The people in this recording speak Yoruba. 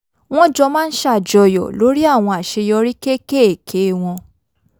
wọ́n jọ máa ń ṣàjọyọ̀ lórí àwọn àṣeyọrí kéékèèké wọ́n